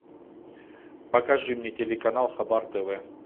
покажи мне телеканал хабар тв